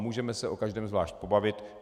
Můžeme se o každém zvlášť pobavit.